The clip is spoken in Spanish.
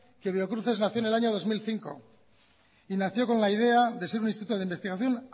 que biocruces nació en el año dos mil cinco y nació con la idea de ser un instituto de investigación